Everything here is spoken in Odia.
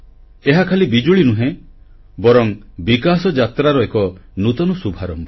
ଏହା ଖାଲି ବିଜୁଳି ନୁହେଁ ବରଂ ବିକାଶଯାତ୍ରାର ଏକ ନୂତନ ଶୁଭାରମ୍ଭ